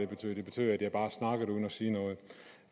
betød det betød at jeg bare snakkede uden at sige noget